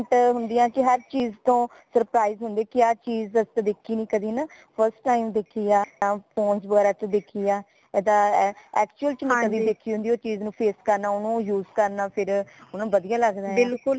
different ਹੁੰਦੀਆਂ ਤੇ ਹਰ ਚੀਜ਼ ਤੋਂ surprise ਹੁੰਦੇ ਕਿ ਆ ਚੀਜ਼ ਅਸੀਂ ਤਾ ਦੇਖੀ ਨਾ ਕਦੀ ਹੈ ਨਾ first time ਦੇਖੀ ਹਾ ਯਾ ਫੋਨ ਵਗੈਰਾ ਚ ਦੇਖੀ ਹਾ ਏਦਾਂ actual ਚ ਨਈ ਕਦੀ ਦੇਖੀ ਹੁੰਦੀ ਓ ਚੀਜ਼ ਨੂ face ਕਰਨਾ ਓਨੁ use ਕਰਨਾ ਫੇਰ ਵਧੀਆ ਲਗਦਾ